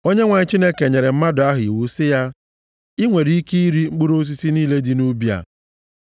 Onyenwe anyị Chineke nyere mmadụ ahụ iwu sị ya “I nwere ike iri mkpụrụ osisi niile dị nʼubi a,